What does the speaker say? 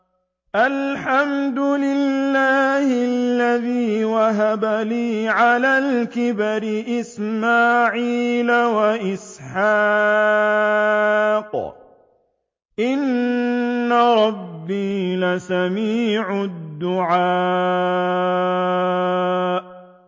الْحَمْدُ لِلَّهِ الَّذِي وَهَبَ لِي عَلَى الْكِبَرِ إِسْمَاعِيلَ وَإِسْحَاقَ ۚ إِنَّ رَبِّي لَسَمِيعُ الدُّعَاءِ